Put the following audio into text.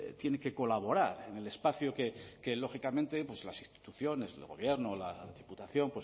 tiene que colaborar en el espacio que lógicamente pues las instituciones el gobierno la diputación